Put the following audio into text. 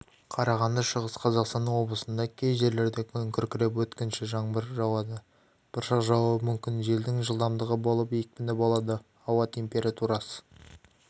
қарағанды шығыс қазақстан облысында кей жерлерде күн күркіреп өткінші жаңбыр жауады бұршақ жаууы мүмкін желдің жылдамдығы болып екпіні болады ауа температурасы